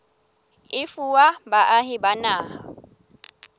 e fuwa baahi ba naha